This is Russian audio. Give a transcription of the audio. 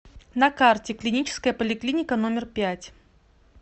на карте клиническая поликлиника номер пять